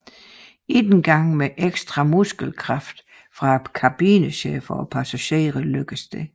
Ikke engang med ekstra muskelkraft fra kabinechefen og passagerer lykkedes det